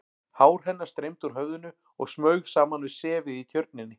Hár hennar streymdi úr höfðinu og smaug saman við sefið í Tjörninni.